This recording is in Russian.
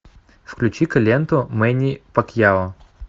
включи ка ленту мэнни пакьяо